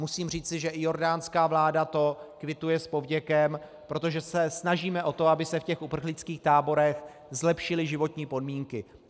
Musím říci, že i jordánská vláda to kvituje s povděkem, protože se snažíme o to, aby se v těch uprchlických táborech zlepšily životní podmínky.